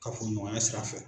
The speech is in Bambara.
Kafoɲɔgɔnya sira fɛ.